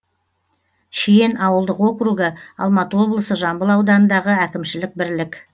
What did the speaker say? шиен ауылдық округі алматы облысы жамбыл ауданындағы әкімшілік бірлік